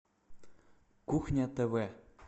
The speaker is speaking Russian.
кухня тв